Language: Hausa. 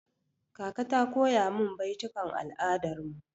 Kaka ta koya min baitukan al'adar mu.